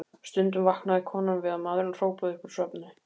Stundum vaknaði konan við að maðurinn hrópaði upp úr svefni